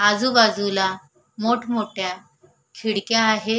आजूबाजूला मोठं मोठ्या खिडक्या आहे.